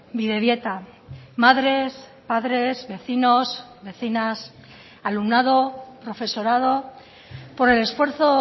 bidebieta madres padres vecinos vecinas alumnado profesorado por el esfuerzo